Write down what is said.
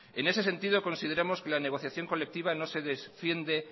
en ese sentido consideramos que la negociación colectiva no se defiende